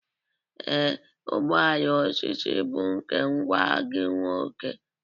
Ee, ụgbọ ala osisi bụ nke nwa gị nwoke.